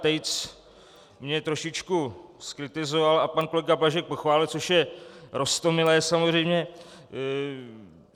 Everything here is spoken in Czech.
Tejc mě trošičku zkritizoval a pan kolega Blažek pochválil, což je roztomilé samozřejmě.